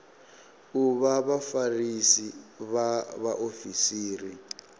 u vha vhafarisi vha vhaofisiri